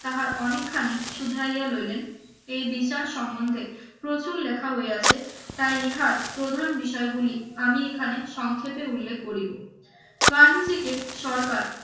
তাহার অনেকখানি শুধরাইয়া লইলেন এই বিচার সম্বন্ধে প্রচুর লেখা হইয়াছে তাই হার প্রধান বিষয়গুলি আমি এখানে সংক্ষেপে উল্লেখ করিব গান্ধীজিকে সরকার